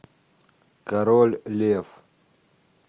король лев